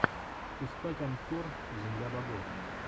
искать анкор земля богов